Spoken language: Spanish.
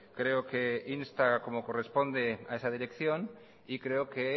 creo que insta como corresponde a esa dirección y creo que